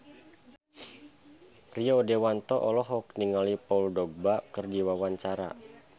Rio Dewanto olohok ningali Paul Dogba keur diwawancara